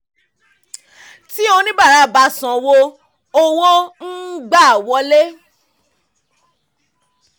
tí oníbàárà bá sanwó owó ń gba wọlé.